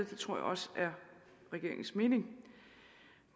tror også det er regeringens mening